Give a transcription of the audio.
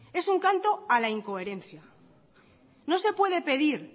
es un canto a la incoherencia no se puede pedir